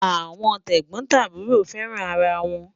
Awọn tẹgbọtaburọ fẹ́ràn ara wọn